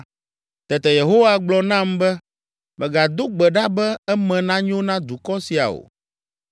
Tete Yehowa gblɔ nam be, “Mègado gbe ɖa be eme nanyo na dukɔ sia o.